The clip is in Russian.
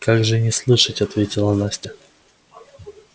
как же не слышать ответила настя